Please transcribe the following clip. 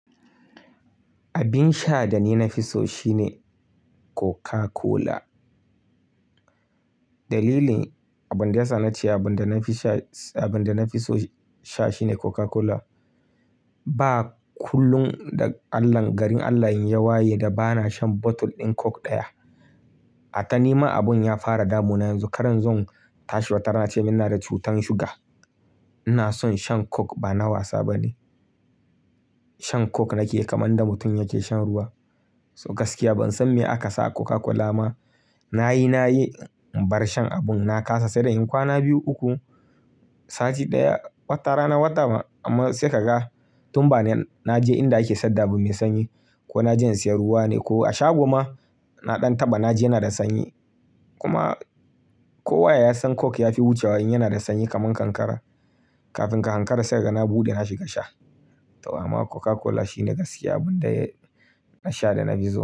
Abin sha da ni na fi so shine Coca Cola. Dalilin abin da ya sa na ce abin da na fi sha, abin da na fi so sha shine Coca Cola. Ba kullum da Allah, garin Allah in ya waye da ba na shan bottle ɗin coke ɗaya. A ta ni ma abun ya fara damu na yanzu. Karan zan tashi watar na ce muna da cutar suga. Ina son shan coke ba na wasa ba ne. Shan coke nake kaman da mutum yake shan ruwa. So gaskiya ban san me aka sa Coca Cola ma. Na yi, na yi in bar shan abun na kasa sai dai in kwana biyu uku, sati ɗaya, wata rana, wata amma sai ka ga tun ba na, na je inda ake sadda abu mai sanyi ko na je in siyan ruwa ne ko a shago ma na ɗan taba na ji yana da sanyi. Kuma kowa ya san coke ya fi wucewa in yana da sanyi kaman kankara. Kafin ka ankara sai ka ga na buɗe na shiga sha. To amma Coca Cola shine gaskiya abin da na sha da na fi so.